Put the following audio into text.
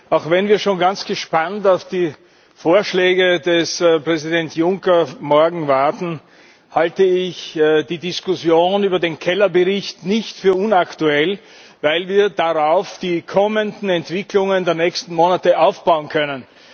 Auch wenn wir schon ganz gespannt auf die Vorschläge von Präsident Juncker morgen warten, halte ich die Diskussion über den Bericht Keller nicht für unaktuell, weil wir darauf die kommenden Entwicklungen der nächsten Monate aufbauen können.